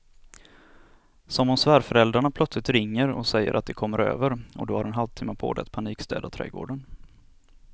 Som om svärföräldrarna plötsligt ringer och säger att de kommer över och du har en halvtimme på dig att panikstäda trädgården.